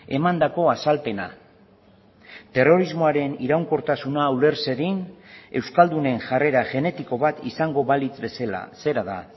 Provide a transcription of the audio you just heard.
emandako azalpena terrorismoaren iraunkortasuna uler zedin euskaldunen jarrera genetiko bat izango balitz bezala zera da